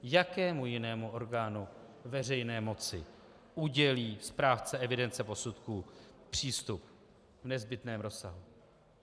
Jakému jinému orgánu veřejné moci udělí správce evidence posudků přístup v nezbytném rozsahu?